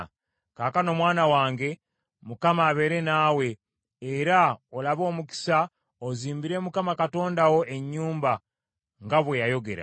“Kaakano, mwana wange, Mukama abeere naawe, era olabe omukisa, ozimbire Mukama Katonda wo ennyumba, nga bwe yayogera.